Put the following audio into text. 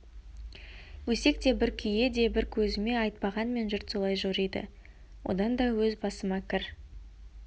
өсек те бір күйе де бір көзіме айтпағанмен жұрт солай жориды одан да өз басыма кір